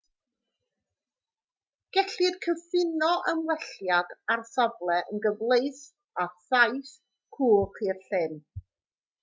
gellir cyfuno ymwelliad â'r safle yn gyfleus â thaith cwch i'r llyn